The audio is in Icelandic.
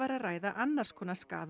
að ræða annars konar skaða